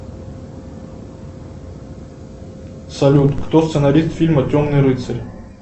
салют кто сценарист фильма темный рыцарь